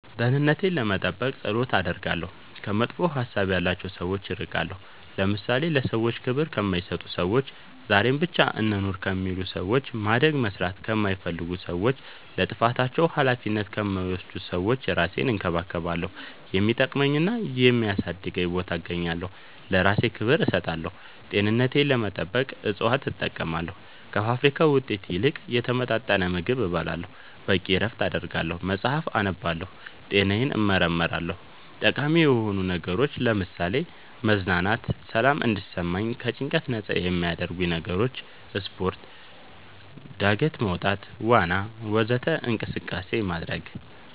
ደህንነቴን ለመጠበቅ ፀሎት አደርጋለሁ ከመጥፎ ሀሳብ ያላቸው ሰዎች እርቃለሁ ለምሳሌ ለሰዎች ክብር ከማይሰጡ ሰዎች ዛሬን ብቻ እንኑር ከሚሉ ሰዎች ማደግ መስራት ከማይፈልጉ ሰዎች ለጥፋታቸው አላፊነት ከማይወስዱ ሰዎች እራሴን እንከባከባለሁ የሚጠቅመኝና የሚያሳድገኝ ቦታ እገኛለሁ ለእራሴ ክብር እሰጣለሁ ጤንነቴን ለመጠበቅ እፅዋት እጠቀማለሁ ከፋብሪካ ውጤት ይልቅ የተመጣጠነ ምግብ እበላለሁ በቂ እረፍት አደርጋለሁ መፅአፍ አነባለሁ ጤናዬን እመረመራለሁ ጠቃሚ የሆኑ ነገሮች ለምሳሌ መዝናናት ሰላም እንዲሰማኝ ከጭንቀት ነፃ የሚያረጉኝ ነገሮች ስፓርት ጋደት መውጣት ዋና ወዘተ እንቅስቃሴ ማድረግ